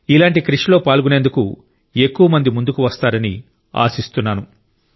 ఇలాంటి కృషిలో పాల్గొనేందుకు ఎక్కువ మంది ముందుకు వస్తారని ఆశిస్తున్నాను